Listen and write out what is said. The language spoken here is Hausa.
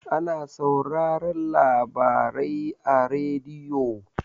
Ana sauraran labarai a radiyo.